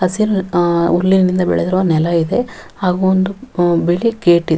ಹಸಿರು ಅಹ್ ಹುಲ್ಲಿನಿಂದ ಬೆಳೆದಿರುವ ನೆಲ ಇದೆ ಹಾಗು ಒಂದು ಅಹ್ ಬಿಳಿ ಗೇಟ್ ಇ --